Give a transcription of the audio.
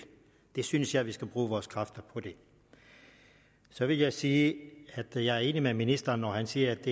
det synes jeg at vi skal bruge vores kræfter på så vil jeg sige at jeg er enig med ministeren når han siger at